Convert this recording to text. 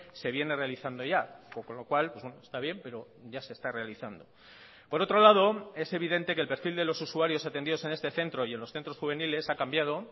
se viene realizando ya con lo cual está bien pero ya se está realizando por otro lado es evidente que el perfil de los usuarios atendidos en este centro y en los centros juveniles ha cambiado